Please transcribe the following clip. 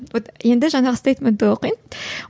вот енді жаңағы стейтментті оқиын